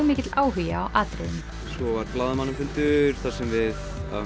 mikill áhugi á atriðinu svo var blaðamannafundur þar sem við